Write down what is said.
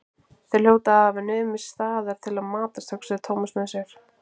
Þeir hljóta að hafa numið staðar til að matast, hugsaði Thomas með sér.